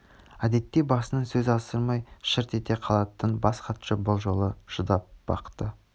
әдетте басынан сөз асырмай шырт ете қалатын бас хатшы бұл жолы шыдап бақты